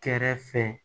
Kɛrɛfɛ